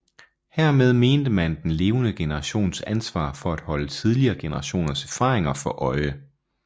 Hermed mente man den levende generations ansvar for at holde tidligere generationers erfaringer for øje